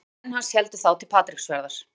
Ari og menn hans héldu þá til Patreksfjarðar.